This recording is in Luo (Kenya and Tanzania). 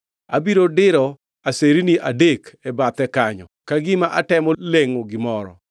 Abiro diro aserni adek e bathe kanyo, ka gima atemo lengʼo gimoro.